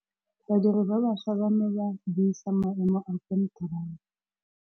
Badiri ba baša ba ne ba buisa maêmô a konteraka.